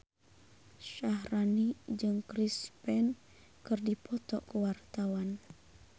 Syaharani jeung Chris Pane keur dipoto ku wartawan